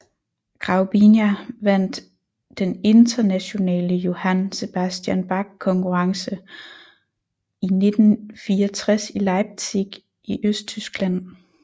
Graubiņa vandt den Internationale Johann Sebastian Bach Konkurrence i 1964 i Leipzig i Østtyskland